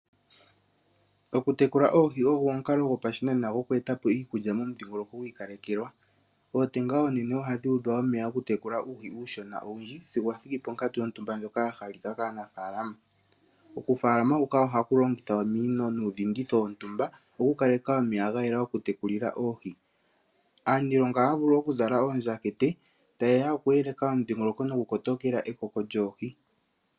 Oku tekula oohi ogo omukalo go pa shinane oguku etapo iikulya momudhingoloko gwiikalekekwa . Ootenga oonene ohadhi udha omeya oku tekula uuhi uushona owundji sigo wathiki ponkatu yontumba ndjoka yahalika kaanafalama. Oku falama huka ohaku longitha ominino nuudhinditho wontumba opo wukaleke omeya gayela oku tekulila oohi . Aaniilonga ohaya vulu oku zala oondjakete tayeya okuyeleka omudhingoloko noku kotokela ekoko lyoohi.